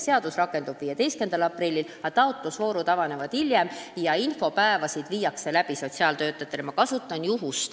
Seadus rakendub 15. aprillil, aga taotlusvoorud avanevad hiljem ja sotsiaaltöötajatele viiakse läbi infopäevi.